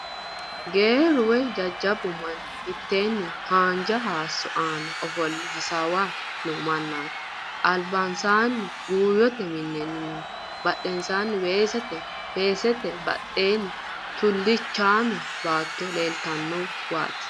Geerru woy jajjabbu manni mitteenni haanja haayissso aana ofolle hasaaway no mannanna albansaanni buuyyote minenna minu badheenni weese weesete badheenni tulliichaame baato leeltannowaati.